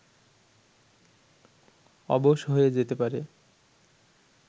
অবশ হয়ে যেতে পারে